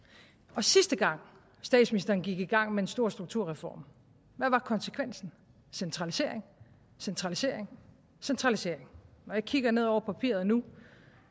og sidste gang statsministeren gik i gang med en stor strukturreform hvad var konsekvensen centralisering centralisering centralisering når jeg kigger ned over papiret nu